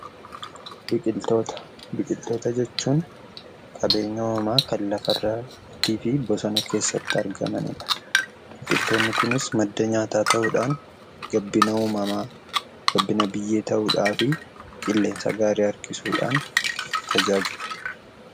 Biqiltoota. Biqiltoota jechuun qabeenya uumamaa kan lafa irratti argamanii fi bosona keessatti biqilanii dha. Biqiltoonni Kunis madda nyaataa ta'uudhaan gabbina uumamaa, gabbina biyyee ta'uudhaan qilleensa gaarii harkisuudhaan tajaajilu.